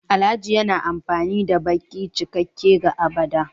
Alhaji yana amfani da baki cikakke ga agbada